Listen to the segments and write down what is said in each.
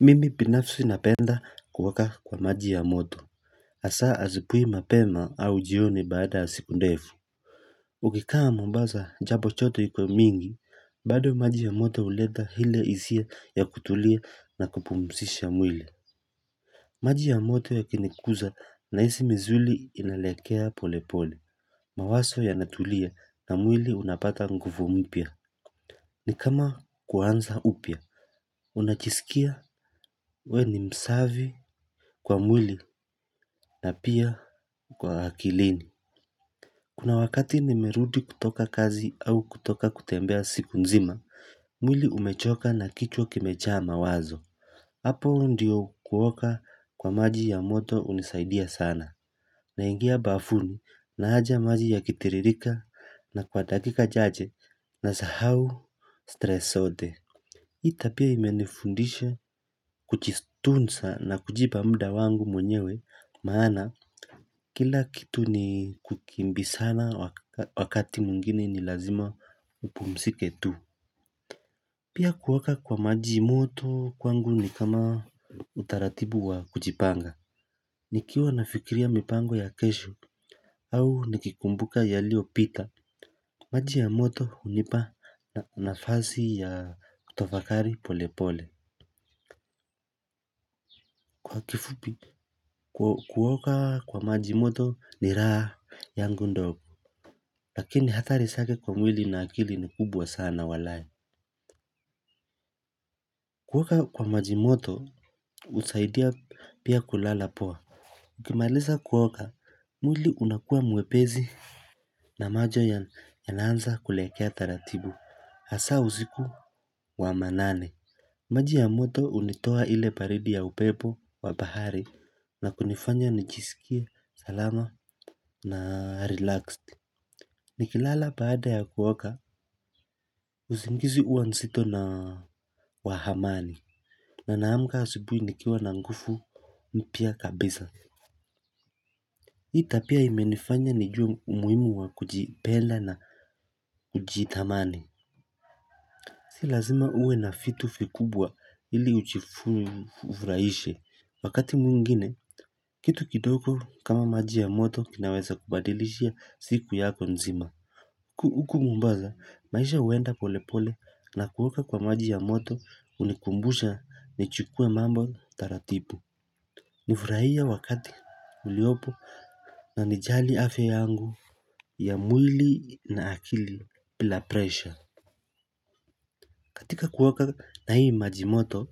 Mimi pinafsi napenda kuoka kwa maji ya moto. Asaa azipui mapema au jioni baada ya siku ndefu. Ukikaa mombaza jambo choto ikuwe mingi. Bado maji ya moto uleta hile isia ya kutulia na kupumusisha mwili. Maji ya moto yakinikuza nahisi mizuli inalekea pole pole. Mawaso yanatulia na mwili unapata nguvu mpya. Ni kama kuanza upya. Unachisikia we ni msavi. Kwa mwili na pia kwa akilini kuna wakati nimerudi kutoka kazi au kutoka kutembea siku nzima. Mwili umechoka na kichwa kimechaa mawazo. Apo ndiyo kuoka kwa maji ya moto unisaidia sana. Naingia bafuni naaja maji yakitiririka na kwa dakika chache nasahau stress sote. Itapia imenifundisha kuchitunsa na kujipa muda wangu mwenyewe maana kila kitu ni kukimbisana wakati mwingine ni lazima upumsike tu. Pia kuoka kwa maji moto kwangu ni kama utaratibu wa kujipanga. Nikiwa nafikiria mipango ya kesho au nikikumbuka yaliopita. Maji ya moto unipa nafasi ya utafakari pole pole. Kwa kifupi kuoka kwa maji moto ni raha yangu ndogo. Lakini hatari sake kwa mwili na akili ni kubwa sana walai. Kuoka kwa maji moto usaidia pia kulala poa. Ukimalisa kuoka mwili unakua mwepesi. Na majo yanaanza kulekea taratibu hasaa uziku wa manane. Maji ya moto unitoa ile paridi ya upepo wa bahari na kunifanya nichisikie salama na relaxed. Nikilala baada ya kuoka usingizi uwa nzito na wa amani na naamka asubui nikiwa na ngufu mpya kabisa. Hii tapia imenifanya nijue umuhimu wa kujipenda na kujitamani. Si lazima uwe na fitu fikubwa ili uchifuvraishe, wakati mwingine, kitu kidoko kama maji ya moto kinaweza kubadilishia siku yako nzima. Huku mombaza, maisha huenda polepole na kuoka kwa maji ya moto unikumbusha ni chukue mambo taratipu. Nivrahie wakati uliopo na nijali afya yangu ya mwili na akili pila presha. Katika kuwaka na hii majimoto,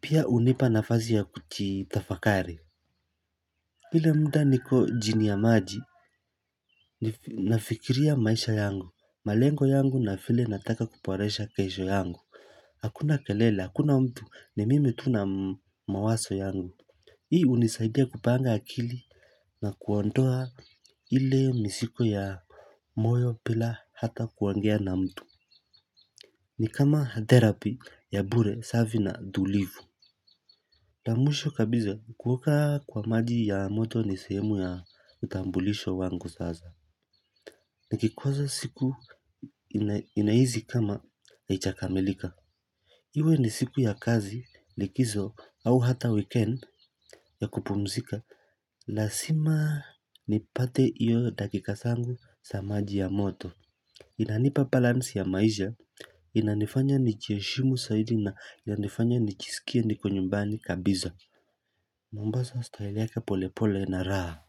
pia unipa nafasi ya kuchitafakari. Hile muda niko jini ya maji, nafikiria maisha yangu, malengo yangu na file nataka kuporesha kesho yangu. Hakuna kelele, hakuna mtu ni mimi tu na mawaso yangu. Hii unisaidia kupanga akili na kuondoa ile misiko ya moyo pila hata kuongea na mtu. Ni kama therapy ya bure safi na tulivu. La mwisho kabiza kuoka kwa maji ya moto ni sehemu ya utambulisho wangu sasa. Nikikoza siku inaizi kama aichakamilika. Iwe ni siku ya kazi likizo au hata weekend ya kupumzika. Lasima nipate iyo dakika sangu sa maji ya moto. Inanipa balansi ya maisha inanifanya nichieshimu saidi na inanifanya nichisikie niko nyumbani kabiza. Mombaza style yake pole pole na raha.